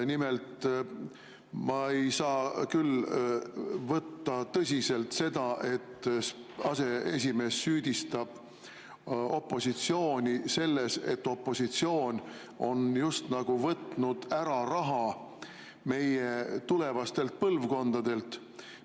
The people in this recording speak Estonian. Nimelt, ma ei saa küll võtta tõsiselt seda, et aseesimees süüdistab opositsiooni selles, et opositsioon oleks nagu võtnud ära raha meie tulevastelt põlvkondadelt.